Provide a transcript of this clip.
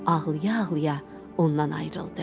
Ağlaya-ağlaya ondan ayrıldı.